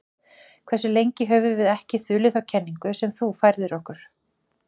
Hversu lengi höfum við ekki þulið þá kenningu sem þú færðir okkur?